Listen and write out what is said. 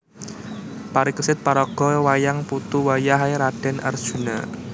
Parikesit paraga wayang putu wayah é Radèn Arjuna